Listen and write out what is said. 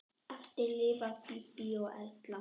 Eftir lifa Bíbí og Erla.